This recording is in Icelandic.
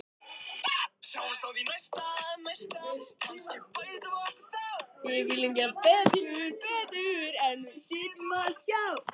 Hann nam staðar og bauð góðan dag.